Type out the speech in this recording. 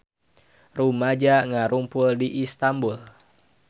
Rumaja ngarumpul di Istanbul